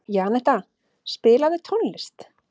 Janetta, spilaðu tónlist.